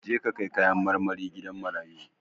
Je ka kai kayan marmari gidan marayu!